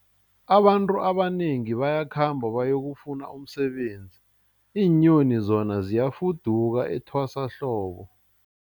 Abantu abanengi bayakhamba bayokufuna umsebenzi, iinyoni zona ziyafuduka etwasahlobo.